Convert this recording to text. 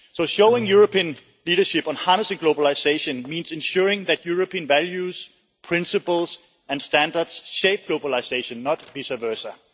Showing European leadership on harnessing globalisation means ensuring that European values, principles and standards shape globalisation, and not vice versa.